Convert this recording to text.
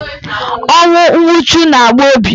Ọnwụ nwuchu na-agba obi.